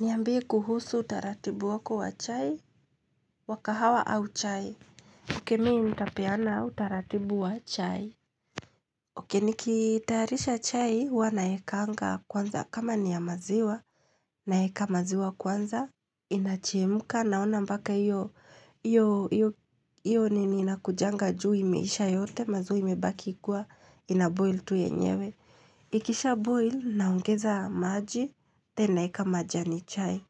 Niambie kuhusu utaratibu wako wa chai wakahawa au chai oke mimi nitapeana utaratibu wa chai oke nikitarisha chai huwa naekanga kwanza kama niyamaziwa naeka maziwa kwanza inachemka naona mbaka iyo nini inakujanga juu imeisha yote maziwa imebaki kua inaboil tu yenyewe ikisha boil naongeza maji naeka majani chai